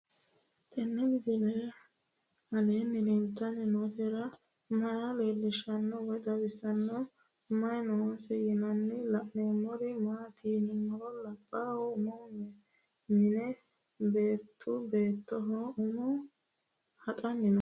Tenni misile aleenni leelittanni nootti maa leelishshanno woy xawisannori may noosse yinne la'neemmori maattiya yinummoro labbalu ummi minne beettu beettoho ummo haxanni noo